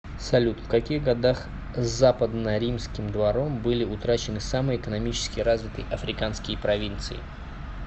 салют в каких годах западноримским двором были утрачены самые экономически развитые африканские провинции